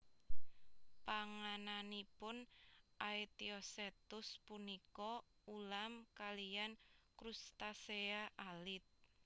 Pangananipun Aetiosetus punika ulam kaliyan crustacea alit